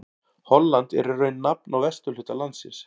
Holland er í raun nafn á vesturhluta landsins.